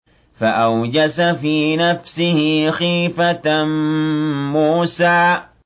فَأَوْجَسَ فِي نَفْسِهِ خِيفَةً مُّوسَىٰ